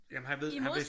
Ja men han ved han vidste